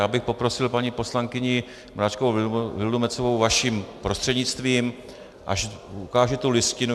Já bych poprosil paní poslankyni Mračkovou Vildumetzovou vaším prostřednictvím, ať ukáže tu listinu.